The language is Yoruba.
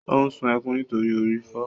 Ó sun ẹkún nítorí orí ń fọ.